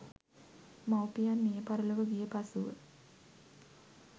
මව්පියන් මියපරලොව ගිය පසුව